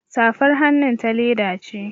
Safar hannun ta leda ce